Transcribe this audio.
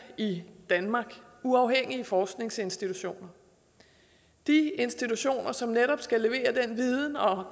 i danmark uafhængige forskningsinstitutioner de institutioner som netop skal levere den viden og